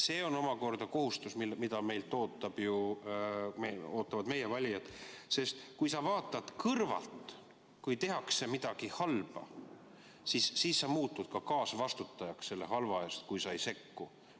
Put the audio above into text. See on omakorda kohustus, mida meilt ootavad meie valijad, sest kui sa vaatad kõrvalt, kui tehakse midagi halba, ja sa ei sekku, siis muutud selle halva eest kaasvastutajaks.